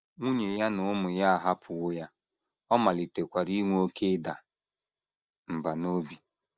Nwunye ya na ụmụ ya ahapụwo ya, ọ malitekwara inwe oké ịda mbà n’obi.